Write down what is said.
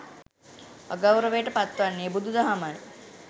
අගෞරවයට පත් වන්නේ බුදු දහමයි.